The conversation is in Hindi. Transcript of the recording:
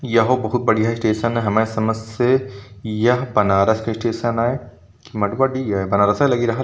यहो बहोत बढ़िया स्टेशन है। हमारी समझ से यह बनारस स्टेशन है। मँड़ुआडिह है बनारसे लागी रहल --